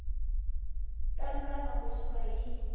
ta lulama ku suka hi